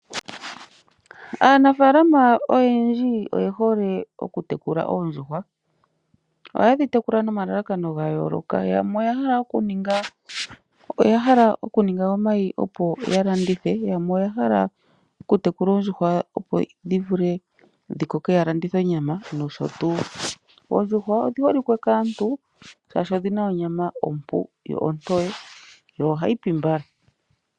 Aanafaalama oyendji oye hole okutekula oondjuhwa. Ohaye dhi tekula nomalakano gayooloka yamwe oya hala okuninga omayi opo ya landithe , yamwe oya hala okutekula oondjuhwa opo dhi vule dhi koke ya landithe onyama noshotuu. Oondjuhwa odhi holike kaantu shaashi odhina onyama ompu yo ontoye yo ohayi pi mbala.